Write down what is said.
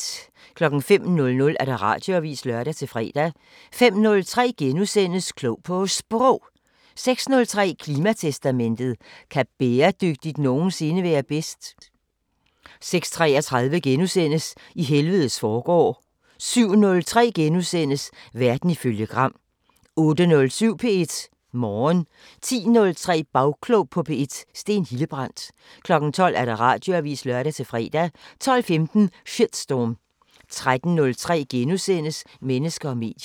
05:00: Radioavisen (lør-fre) 05:03: Klog på Sprog * 06:03: Klimatestamentet: Kan bæredygtigt nogensinde være bedst? 06:33: I helvedes forgård * 07:03: Verden ifølge Gram * 08:07: P1 Morgen 10:03: Bagklog på P1: Steen Hildebrandt 12:00: Radioavisen (lør-fre) 12:15: Shitstorm 13:03: Mennesker og medier *